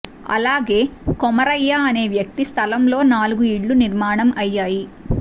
అలాగే కొమరయ్య అనే వ్యక్తి స్థలంలో నాలుగు ఇళ్లు నిర్మాణం అయ్యాయి